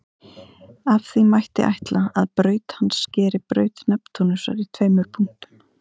Af því mætti ætla að braut hans skeri braut Neptúnusar í tveimur punktum.